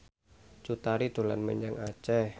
Cut Tari dolan menyang Aceh